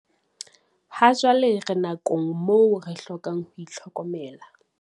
Hajwale re nakong moo re hlokang ho itlhokomela.